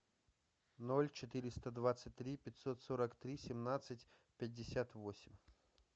ноль четыреста двадцать три пятьсот сорок три семнадцать пятьдесят восемь